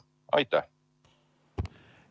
Aitäh!